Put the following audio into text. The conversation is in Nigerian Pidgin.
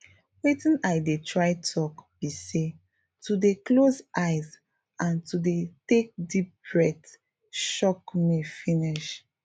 watin i dey try talk be say to dey close eyes and to dey take deep breath shock me finish